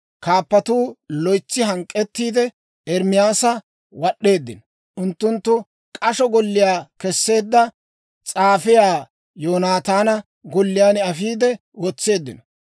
Kaappatuukka loytsi hank'k'ettiide, Ermaasa wad'd'eeddino; unttunttu k'asho golliyaa kesseedda, s'aafiyaa Yoonataana golliyaan afiide wotseeddino.